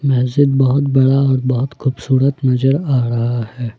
मस्जिद बहोत बड़ा और बहोत खूबसूरत नजर आ रहा है।